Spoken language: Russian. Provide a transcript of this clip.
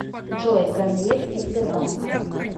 джой ганеев из сбербанка